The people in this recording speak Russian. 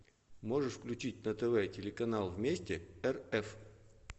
можешь включить на тв телеканал вместе рф